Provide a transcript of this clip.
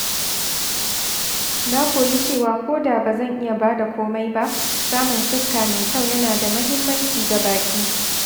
Na koyi cewa koda ba zan iya ba da komai ba, samun fuska mai kyau yana da muhimmanci ga baƙi.